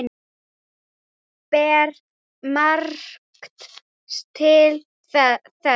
Ber margt til þess.